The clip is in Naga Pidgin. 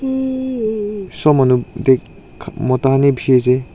sob manu dec mota kan h bishi ase.